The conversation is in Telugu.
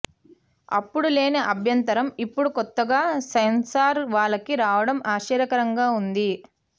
అప్పుడు లేని అభ్యంతరం ఇప్పుడు కొత్తగా సెన్సార్ వాళ్ళకి రావడం ఆశ్చర్యకరంగా ఉంది